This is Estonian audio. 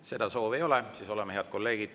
Seda soovi ei ole.